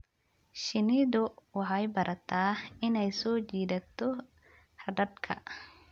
Shinnidu waxay barataa inay soo jiidato raadadka.